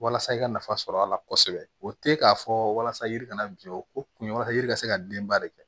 Walasa i ka nafa sɔrɔ a la kosɛbɛ o tɛ k'a fɔ walasa yiri kana biɲɛ o kun walasa yiri ka se ka denba de kɛ